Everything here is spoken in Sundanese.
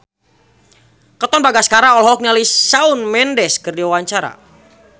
Katon Bagaskara olohok ningali Shawn Mendes keur diwawancara